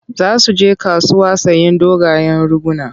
Za su je kasuwa sayen dogayen riguna.